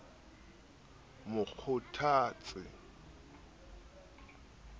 mo kgothatse le ho mo